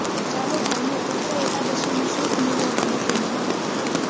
ચાલો જાણીએ પુત્ર એકાદશીનું શુભ મુહૂર્ત અને તેનું મહત્વ